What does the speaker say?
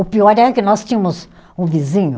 O pior é que nós tínhamos um vizinho.